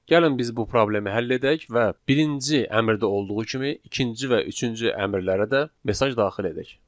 Gəlin biz bu problemi həll edək və birinci əmrdə olduğu kimi ikinci və üçüncü əmrlərə də mesaj daxil edək.